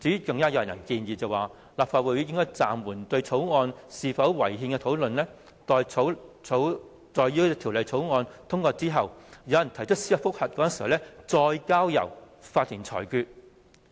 更有人建議，立法會應暫緩對《條例草案》是否違憲的討論，待《條例草案》通過之後，有人提出司法覆核時，再交由法庭裁決。